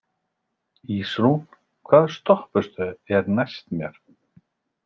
Ísrún, hvaða stoppistöð er næst mér?